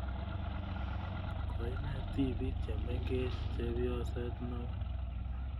Koinet tipiik chemengech chepyoset ne oo